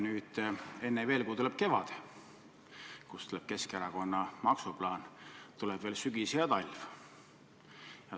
Nüüd enne veel, kui tuleb kevad ja Keskerakonna maksuplaan, tuleb veel sügis ja talv.